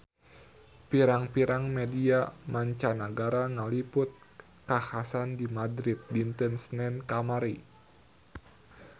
Pirang-pirang media mancanagara ngaliput kakhasan di Madrid dinten Senen kamari